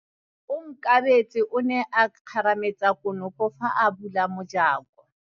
Onkabetse o ne a kgarametsa konopô fa a bula mojakô.